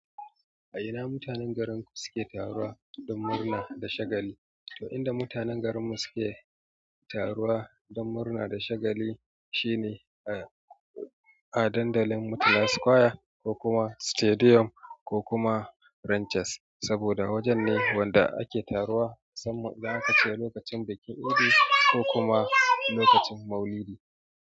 A ina mutane garinku suke taruwa don murna da shagali? To, inda mutanen garinmu suke taruwa don murna da shagali shine a. A dandalin Murtala Square, ko kuma Stadium ko kuma Ranches, saboda wajen ne wanda ake taruwa, musamman idan aka ce lokacin bikin idi ko kuma lokacin Maulidi.